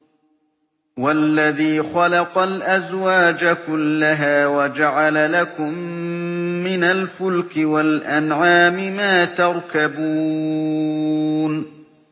وَالَّذِي خَلَقَ الْأَزْوَاجَ كُلَّهَا وَجَعَلَ لَكُم مِّنَ الْفُلْكِ وَالْأَنْعَامِ مَا تَرْكَبُونَ